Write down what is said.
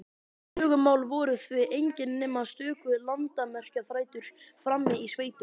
Klögumál voru því engin nema stöku landamerkjaþrætur frammi í sveitum.